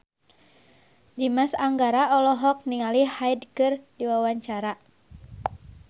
Dimas Anggara olohok ningali Hyde keur diwawancara